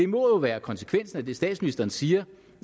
må jo være konsekvensen af det statsministeren siger